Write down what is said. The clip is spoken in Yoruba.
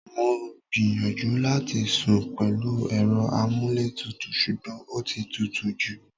Mo gbìyànjú láti sún pẹ̀lú èrò amuletutu sugbon ọtí tútù jú.